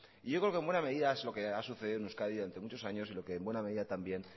yo creo que en buena medida es lo que ha sucedido en euskadi ante muchos años y lo que en buena medida también